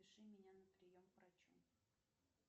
запиши меня на прием к врачу